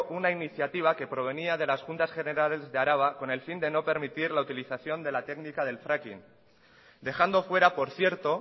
una iniciativa que provenía de las juntas generales de araba con el fin de no permitir la utilización de la técnica del fracking dejando fuera por cierto